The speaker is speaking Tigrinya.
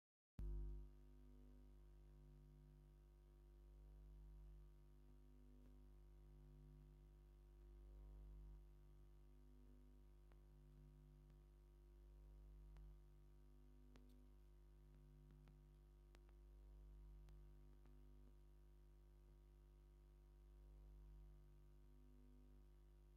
ሰላማዊ ናይ ጎደና ትርኢት ይርኢ ኣለኹ! ነዊሕ መንገዲ ኣስፋልትን ኣብ ጽላል ጽቡቕ ኣግራብን ኣሎ። ኣብ ጎኒ እቲ ጽርግያ ትሑት ናይ ኮንክሪት መንደቕን ብሓጺን ዝተሰርሐ ሓጹርን ኣሎ። ሓደ ሰብ ኣብ ጥቓ እቲ መንደቕ ብሰላም ኮፍ ኢሉ ይርአ።